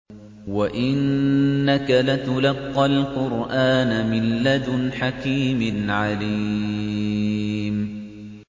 وَإِنَّكَ لَتُلَقَّى الْقُرْآنَ مِن لَّدُنْ حَكِيمٍ عَلِيمٍ